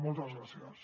moltes gràcies